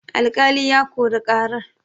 alƙali ya Kori karar